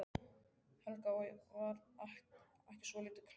Helga: Og var ekki svolítið kalt í nótt?